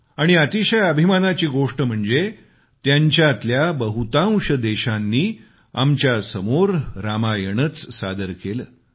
आणि अतिशय अभिमानाची गोष्ट म्हणजे त्यांच्यातल्या बहुतांश देशांनी आमच्यासमोर रामायणच सादर केलं